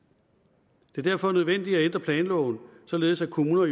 det er derfor nødvendigt at ændre planloven således at kommunerne